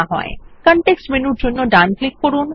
context মেনুর জন্য ডান ক্লিক করুন